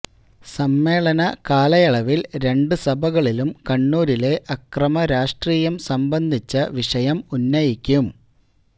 സമ്മേളന കാലയളവിൽ രണ്ട് സഭകളിലും കണ്ണൂരിലെ അക്രമ രാഷ്ട്രീയം സംബന്ധിച്ച വിഷയം ഉന്നയിക്കും